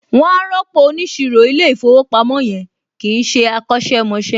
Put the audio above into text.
Wọn á rọ́pò óniṣirò ilé ìfowópamọ́ yẹn, kìí ṣé akọ̀sẹ̀ mọṣẹ́